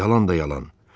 Yalan da yalan.